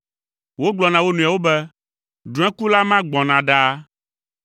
Wogblɔ na wo nɔewo be, “Drɔ̃ekula ma gbɔna ɖaa!